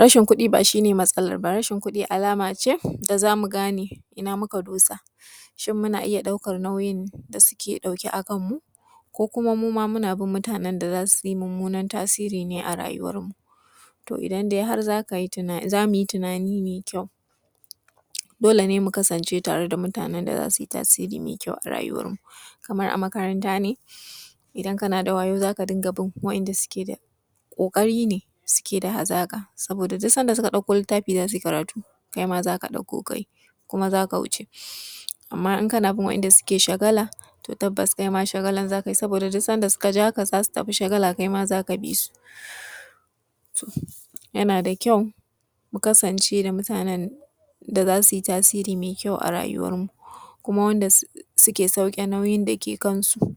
Rashi kuɗi ba shi ne matsalar ba, rashin kuɗi alama ce na mu gane ina muka dosa shin muna iya ɗaukar nauyinda suke ɗauke a kanmu ko kuma mu ma muna bi mutanen da za su yi mummunar tasiri ne a rayuwar mu. To idan dai har za mu yi tunani mai ƙyau dole ne mu kasance tare da mutane da za suyi tasori mai kyau a rayuwarmu. Kamar a makaranta ne idan kana da wayau za ka riƙa bin waɗanda suke da ƙoƙari ne suke da hazaka, saboda duk sanda suka ɗauko littafi za su yi karatu kai ma za ka ɗauko ka yi kuma za ka wuce. Amma kana bin waɗanda suke shagala tabbas kaima shagalan za ka yi duk sanda suka ja ka kaima za ka bi su. yana da ƙyau mu kasance da mutanen da za su yi tasiri mai ƙyau a rayuwarmu kaima wanda suke sauke nauyin da ke kansu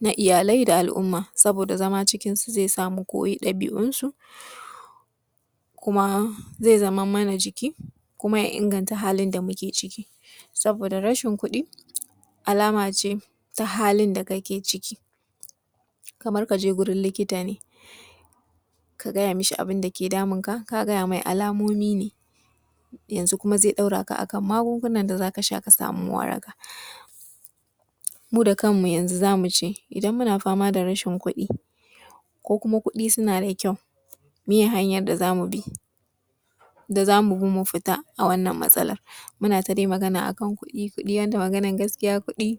na iyalai da al'umma. Saboda zama cikinsu zai sa dabi'unsu zai zama mana jiki kuma ya inganta halin da muke ciki., Saboda rashin kuɗi alama ce ta halin da kake ciki. Kamar ka je wurin likita ne ka fada mu shi abun da yake damunka ka gaya mai alamomi ne. Yanzu kuma zai daura ka a kan magungunan da za ka sha ka sama waraka. Mu da kanmu yanzu za mu ji idan muna fama da rashin kuɗi ko kuma kuɗi suna da ƙyau meye hanyar da za mu bi mu fita a wannan matsalar. Muna dai magana a kan kuɗi, magana gaskiya kuɗi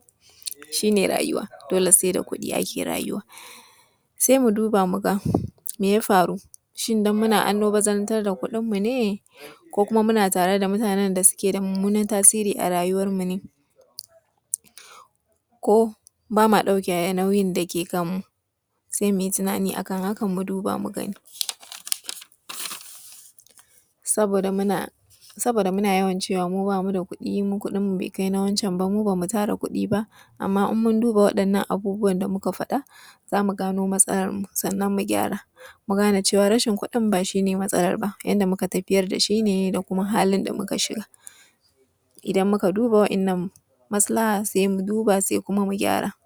shi ne rayuwa dole sai da kuɗi ake rayuwa. Sai mu duba mu ga me ya faru, shin don muna almabarantar da kuɗinmu ne ko kuma muna tare da mutanen da suke da mummunar tasiri a a rayuwarmu ne ko ba ma dauke nauyin da yake kanmu? Sai mu yi tunani a kan hakan mu duba mu gani. Saboda muna yaway cewa mu ba mu da kuɗi, mu kuɗinmu bai kai na wance ba .ba mu tara kudi ba amma idan mun duba za mu gano matsalar mu mu gyara mu gane wannan rashin kuɗin ba shi matsalar ba yadda muka tafiyar da shi ne da kuma halin da muka shiga. Idan muka duba waɗannan masalaha sai mu duba sai mu gyara.